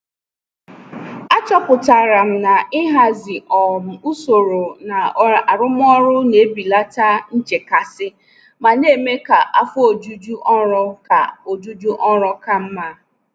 Achọpụtara m na ịhazi um usoro na arụmọrụ na-ebelata nchekasị ma na-eme ka afọ ojuju ọrụ ka ojuju ọrụ ka mma.